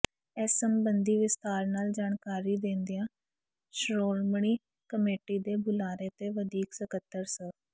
ਇਸ ਸਬੰਧੀ ਵਿਸਥਾਰ ਨਾਲ ਜਾਣਕਾਰੀ ਦੇਂਦਿਆਂ ਸ਼ੋ੍ਰਮਣੀ ਕਮੇਟੀ ਦੇ ਬੁਲਾਰੇ ਤੇ ਵਧੀਕ ਸਕੱਤਰ ਸ